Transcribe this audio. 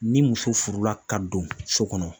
Ni muso furula ka don so kɔnɔ